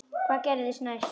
Hvað gerðist næst?